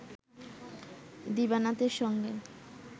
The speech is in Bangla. দিবানাথের সঙ্গে